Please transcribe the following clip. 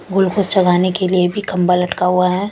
Glucose चडाने के लिए भी खम्बा लटका हुआ है ।